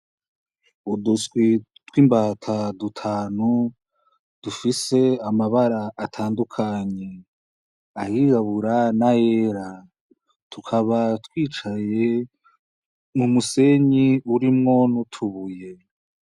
Uduswi tw'imbata dutanu dufise amabara atandukanye, ayirabura n'ayera, tukaba twicaye mu musenyi urimwo n'utubuye.